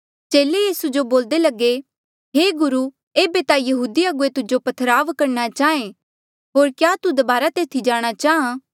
चेले यीसू जो बोल्दे लगे हे गुरु एेबे ता यहूदी अगुवे तुजो पथराव करणा चाहें होर क्या तू दबारा तेथी जाणा चाहां